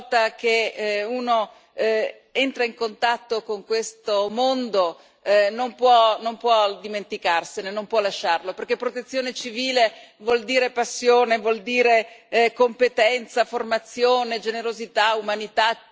Una volta che uno entra in contatto con questo mondo non può non può dimenticarsene, non può lasciarlo, perché Protezione civile vuol dire passione, vuol dire competenza, formazione, generosità, umanità.